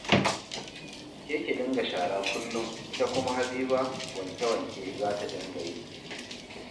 Ke ki dinga shara kullum, ita kuma Habiba, wanke-wanke za ta dinga yi